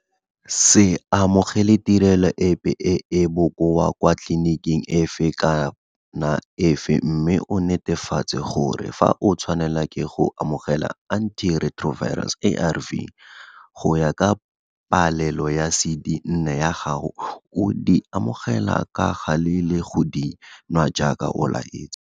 Se amogele tirelo epe e e bokoa kwa tleliniking efe kana efe mme o netefatse gore fa o tshwanelwa ke go amogela anti retro virals ARV go ya ka palelo ya cd 4 ya gago o di amogela ka gale le go di nwa jaaka o laetswe.